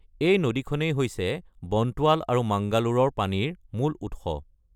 এই নদীখনেই হৈছে বণ্টোৱাল আৰু মাঙ্গালোৰৰ পানীৰ মূল উৎস।